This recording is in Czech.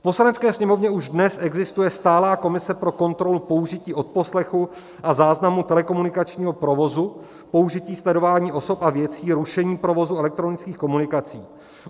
V Poslanecké sněmovně už dnes existuje stálá komise pro kontrolu použití odposlechu a záznamu telekomunikačního provozu, použití sledování osob a věcí, rušení provozu elektronických komunikací.